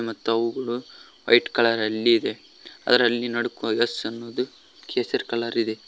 ಮತ್ತು ಅವುಗಳು white colour ಅಲ್ಲಿದೆ ಅದರಲ್ಲಿ ನಡ್ಕೋ ಯೆಸ್ ಅನ್ನುವುದು ಕೇಸರಿ ಕಲರ್ ಇದೆ.